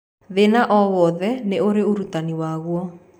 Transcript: Thĩna o wothe nĩ ũrĩ ũrutani waguo.